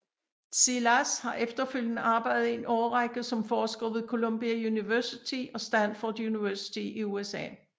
Szilas har efterfølgende arbejdet i en årrække som forsker ved Columbia University og Stanford University i USA